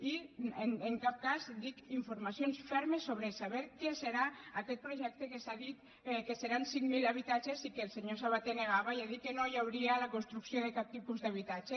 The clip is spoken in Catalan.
i en cap cas dic informacions fermes sobre saber què serà aquest projecte que s’ha dit que seran cinc mil habitatges i que el senyor sabaté negava i ha dit que no hi hauria la construcció de cap tipus d’habitatge